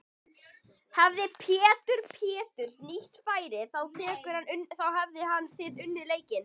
Hefði Pétur Péturs nýtt færin þá hefðuð þið unnið leikinn?